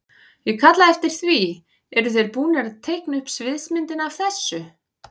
Ég kalla eftir því, eru þeir búnir að teikna upp sviðsmyndina af þessu?